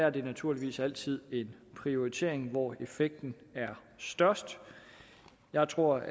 er naturligvis altid en prioritering i hvor effekten er størst jeg tror